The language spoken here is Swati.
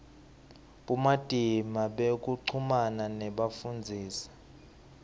bumatima bekuchumana nebafundzisi